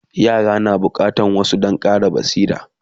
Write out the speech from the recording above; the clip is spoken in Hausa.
yara na da bukatan wasa Dan Ƙara basira